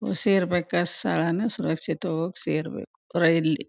ಸೇರ್ಬೇಕಾದ್ ಸ್ಥಳಾನ ಸುರಕ್ಷಿತವಾಗಿ ಸೇರ್ಬೇಕು ರೈಲ್ ಲಿ.